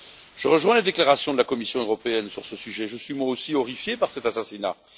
Je rejoins les déclarations de la Commission européenne sur ce sujet, je suis, moi aussi, horrifié par cet assassinat.